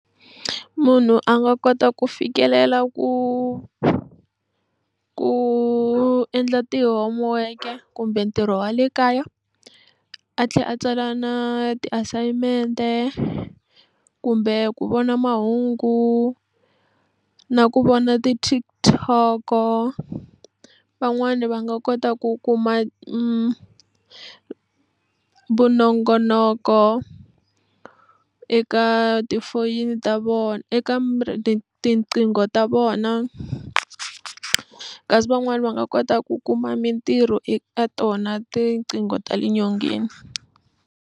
Munhu a nga kota ku fikelela ku ku endla ti-homework-e kumbe ntirho wa le kaya a tlhela a tsala na ti-assignment-e kumbe ku vona mahungu na ku vona ti-TikTok-o van'wani va nga kota ku kuma vunongonoko eka tifoyini ta vona eka tinqingho ta vona kasi van'wani va nga kota ku kuma mintirho eka tona tiqingho ta le nyongeni.